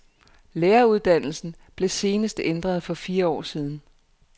Læreruddannelsen blev senest ændret for fire år siden.